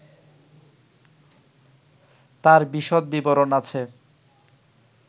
তার বিশদ বিবরণ আছে